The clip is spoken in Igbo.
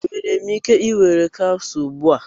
Enwere m ike ị were capsule ugbu a?